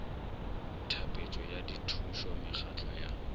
tlhapetšo ya dithušo mekgatlo ya